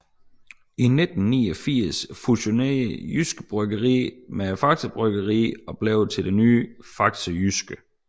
I 1989 fusionerede Jyske Bryggerier med Faxe Bryggeri og blev til det nye Faxe Jyske